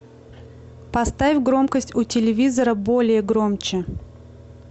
поставь громкость у телевизора более громче